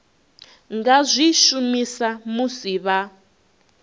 nga zwi shumisa musi vha